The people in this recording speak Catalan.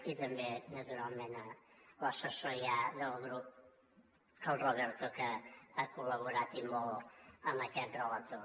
i també naturalment a l’assessor ja del grup el roberto que ha col·laborat i molt amb aquest relator